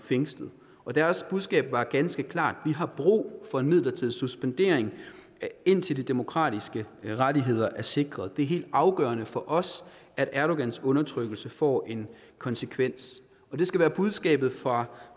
fængslet og deres budskab var ganske klart vi har brug for en midlertidig suspendering indtil de demokratiske rettigheder er sikret det er helt afgørende for os at erdogans undertrykkelse får en konsekvens og det skal være budskabet fra